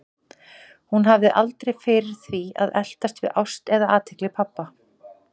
Hún hafði aldrei fyrir því að eltast við ást eða athygli pabba.